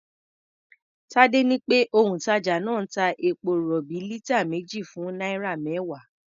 Tadé ní pé òǹtàjà náà ń ta epo-rọ̀bì lítà méjì fún náírà mẹ́wàá.